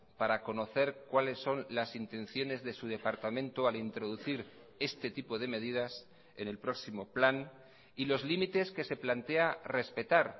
para conocer cuáles son las intenciones de su departamento al introducir este tipo de medidas en el próximo plan y los límites que se plantea respetar